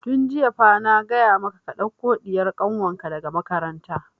Tun jiya fa na gaya maka ka ɗauko ɗiyar kanwar ka daga makaranta!